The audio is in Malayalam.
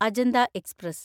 അജന്ത എക്സ്പ്രസ്